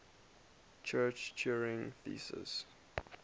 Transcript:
church turing thesis